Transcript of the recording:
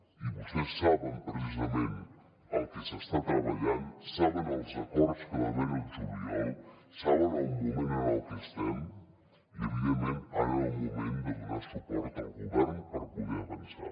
i vostès saben precisament el que s’està treballant saben els acords que va haver hi al juliol saben el moment en el que estem i evidentment ara era el moment de donar suport al govern per poder avançar